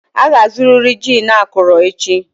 Ị ga-azụrịrị gin akọrọ echi!